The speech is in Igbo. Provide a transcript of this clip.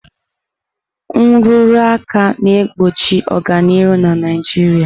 Nrụrụ aka na-egbochi ọganihu na Naijiria.